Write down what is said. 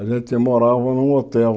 A gente morava num hotel.